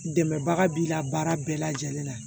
Dɛmɛbaga b'i la baara bɛɛ lajɛlen na